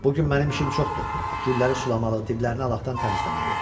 Bu gün mənim işim çoxdur, gülləri sulamalı, diblərini alaqdan təmizləməliyəm.